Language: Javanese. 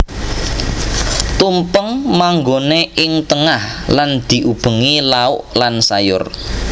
Tumpeng manggoné ing tengah lan diubengi lauk lan sayur